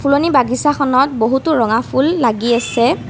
ফুলনি বাগিছাখনত বহুতো ৰঙা ফুল লাগি আছে।